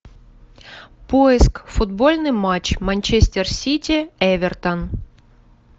поиск футбольный матч манчестер сити эвертон